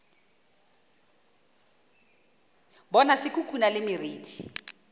bona se khukhuna le meriti